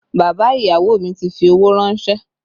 Bàbá ìyàwó mi ti fi owó rànsẹ́